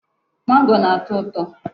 Mango na-atọ ụtọ.